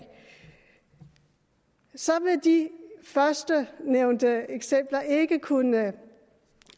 så vil de førstnævnte eksempler ikke kunne